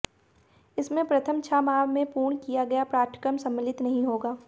इसमें प्रथम छह माह में पूर्ण किया गया पाठ्यक्रम सम्मलित नहीं होगा